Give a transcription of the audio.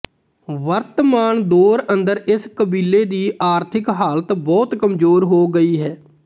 ਵਰਤਮਾਨ ਦੌਰ ਅੰਦਰ ਇਸ ਕਬੀਲੇ ਦੀ ਆਰਥਿਕ ਹਾਲਤ ਬਹੁਤ ਕਮਜ਼ੋਰ ਹੋ ਗਈ ਹੈ